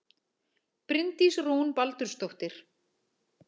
Bryndís Rún Baldursdóttir